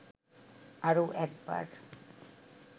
আরও একবার